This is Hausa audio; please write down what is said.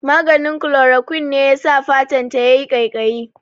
Maganin Chloroquine ne yasa fatan ta yayi ƙaiƙayi